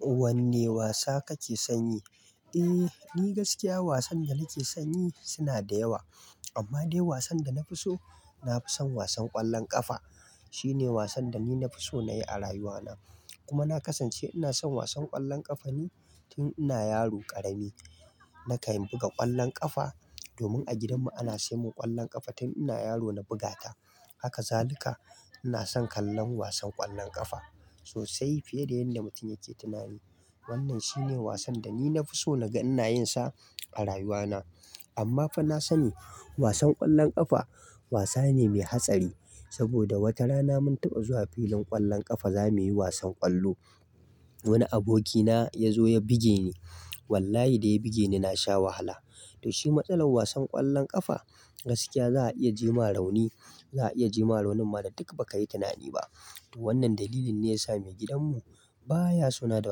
Wanne wasa kake son yi? Eh gaskiya wasan da nake son yi suna da yawa. Amma dai wasan da na fi so, na fi son wasan ƙwallon ƙafa. Shine wasan da ni nafi so na yi a rayuwana. Kuma na kasance ina son wasan ƙwallon ƙafa ne tun ina yaro ƙarami. Na kam buga ƙwallon ƙafa domin a gidanmu ana sai mun ƙwallon ƙafa tun ina yaro na bugata. Haka zalika ina son kallon wasan ƙwallon ƙafa sosai fiye da yadda mutum yake tunani. Wannan shine wasan da ni na fi so na ga ina yin sa a rayuwa na. Amma fa na sani wasan ƙwallon ƙafa wasa ne mai hatsari. Saboda watarana mun taɓa zuwa filin ƙwallon ƙafa, zamuyi wasan ƙwallo. Wani abokina ya zo ya buge ni. Wallahi da ya buge ni, na sha wahala. To shi matsalar wasan ƙwallon ƙafa. Gaskiya za a iya jima rauni. Za a iya jima raunin ma da duk ba ka yi tunani ba. To wannan dalilin ne ya sa mai gidanmu baya so na da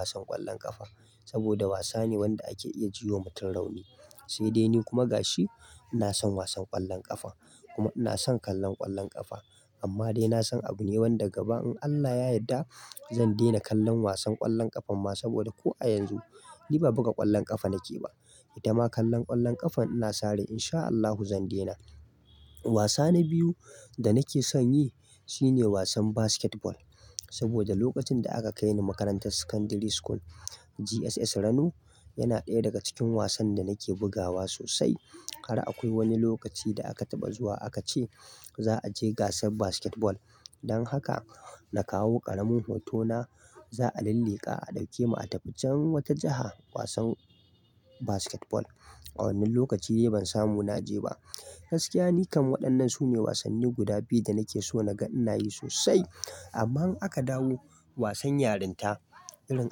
wasan ƙwallon ƙafa. Saboda wasa ne wanda ake iya ji wa mutum rauni. Sai dai ni kuma gashi ina son wasan ƙwallon ƙafa kuma ina son kallon ƙwallon ƙafa. Amma dai na san abu ne wanda gaba in Allah ya yadda zan daina kallon wasan ƙwallon ƙafa. Ma saboda ko a yanzu ni ba buga ƙwallon ƙafa nake ba. Ita ma kallon ƙwallon ƙafa ina sa rai in sha Allahu zan daina. Wasa na biyu da nake son yi shine wasan basketball. Saboda lokacin da aka kai ni makarantar Secondary School GSS Rano, yana ɗaya daga cikin wasan da nake bugawa sosai. Har akwai wani lokaci da aka taɓa zuwa aka ce za a je gasar basketball. Dan haka na kawo ƙaramin hotona za a lilliƙa a ɗauke mu a tafi can wata jaha wasan basketball. A wannan lokaci ban samu na je ba. Gaskiya ni kam waɗannan sune wasanni guda biyu da nake so na ga ina yi sosai. Amma in aka dawo wasan yarinta, irin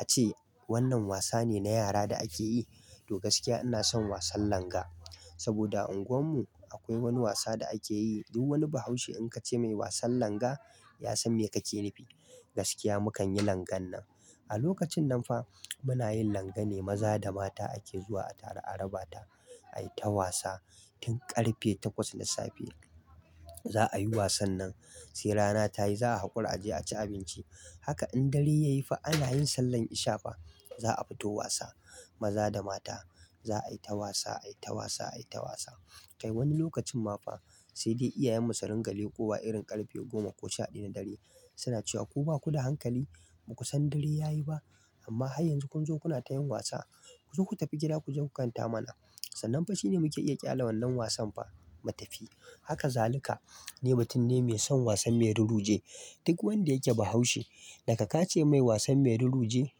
ace wannan wasa ne na yara da ake yi. To gaskiya ina son wasan langa. Saboda a unguwar mu akwai wani wasa da ake yi, duk wani bahaushe in ka ce mai "wasan langa", ya san me kake nufi. Gaskiya mu kan yi langan nan. A lokacin nan fa muna yin langa ne maza da mata ake zuwa a taru a raba ta. Ai ta wasa tun ƙarfe takwas na safe za a yi wasan nan. Sai rana ta yi za a haƙura a je a ci abinci. Haka in dare ya yi fa ana yin sallar ishafa. Za a fito wasa maza da mata. Za a yi ta wasa, a yi ta wasa, a yi ta wasa. Kai wani lokacin ma fa sai dai iyayenmu su ringa leƙowa irin ƙarfe goma ko sha ɗaya na dare suna cewa, "Ku ba ku da hankali? Ba ku san dare ya yi ba? Amma har yanzu kun zo kuna ta yin wasa. Ku zo ku tafi gida ku je ku kanta mana." Sannan fa shine muke iya ƙyale wannan wasan fa mu tafi. Haka zalika ni mutum ne mai son wasan mai ruruje. Duk wanda yake bahaushe daga ka ce mai wasan mai ruruje,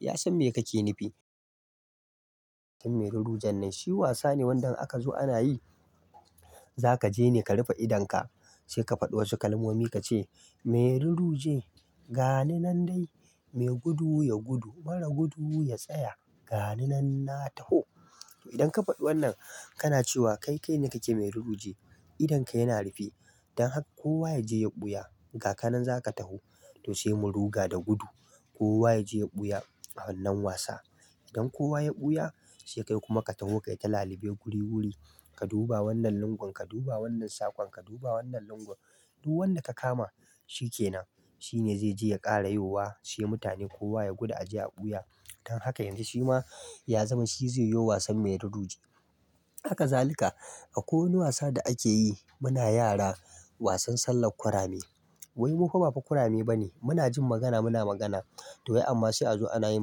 ya san me kake nufi. Mai rurujen nan shi wasa ne wanda in aka zo ana yi, za ka je ne ka rufe idonka, sai ka faɗi wasu kalmomi ka ce, "Mai ruruje, gani nan dai, mai gudu ya gudu. Mara gudu ya tsaya. Gani nan na taho." To idan ka faɗi wannan, kana cewa kai kai ne kake mai ruruje. Idonka yana rufe. Dan haka kowa ya je ya ɓuya. Gaka nan za ka taho. To sai mu ruga da gudu. Kowa ya je ya ɓuya a wannan wasa. Idan kowa ya ɓuya, sai kai kuma ka taho kai ta lalube guri guri. Ka duba wannan lungun, ka duba wannan saƙon, ka duba wannan lungun. Duk wanda ka kama, shi kenan. Shine zai je ya ƙara yowa. Sai mutane kowa ya gudu a je a ɓuya. Dan haka yanzu shi ma ya zama shi zai yo wasan mai ruruje. Haka zalika akwai wani wasa da ake yi muna yara wasan sallar kurame. Wai mu fa ba fa kurame ba ne. Muna jin magana muna magana. To wai amma sai a zo ana yin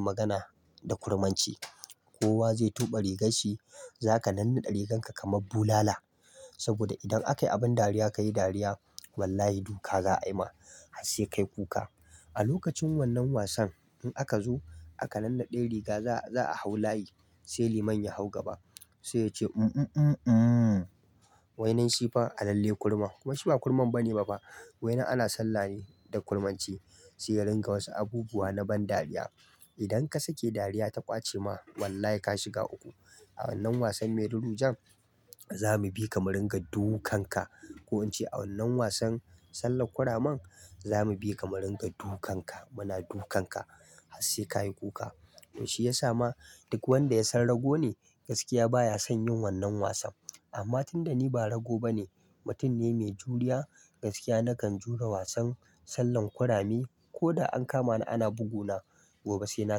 magana da kurmanci. Kowa zai tuɓe rigar shi. Za ka nannaɗe rigar ka kamar bulala. Saboda idan akayi abin dariya, ka yi dariya, wallahi duka za a yi ma. Sai ka yi kuka. A lokacin wannan wasan in aka zo aka nannaɗe riga, za-za a hau layi, sai liman ya hau gaba. Sai ya ce, "Mm mm mm mm." Wainan shi fa a lalle kurma. Kuma shi ba kurman bane ba fa. Wainan ana sallah ne da kurmanci. Sai ya ringa wasu abubuwa na ban dariya. Idan ka sake dariya ta ƙwace ma, wallahi ka shiga uku. A wannan wasan mai rurujen, za mu bi ka mu ringa dukanka. Ko in ce a wannan wasan sallar kuraman, za mu bi ka mu ringa dukanka. Muna dukanka har sai ka yi kuka. To shi ya sa ma duk wanda ya san rago ne, gaskiya baya son yin wannan wasan. Amma tun da ni ba rago bane, mutum ne mai juriya. Gaskiya na kan jure wasan sallar kurame. Ko da an kama ni ana buguna, gobe sai na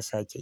sake.